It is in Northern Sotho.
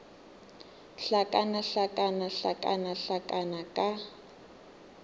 hlakana hlakana hlakana hlakana ka